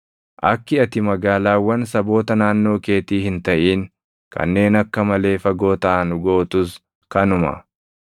Akki ati magaalaawwan saboota naannoo keetii hin taʼin kanneen akka malee fagoo taʼan gootus kanuma.